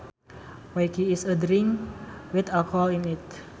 Whisky is a drink with alcohol in it